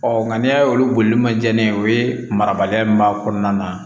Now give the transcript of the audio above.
Ɔ nka n'i y'a ye olu bolili man diya ne ye o ye marabaliya min b'a kɔnɔna na